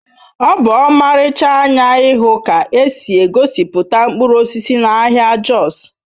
Ọ bụ ọmarịcha anya ịhụ ka esi egosipụta mkpụrụ osisi n'ahịa Jos